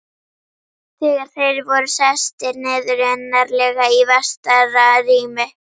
Þegar þeir voru sestir niður, innarlega í vestara rými